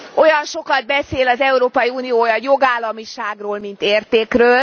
Olyan sokat beszél az Európai Unió a jogállamiságról mint értékről.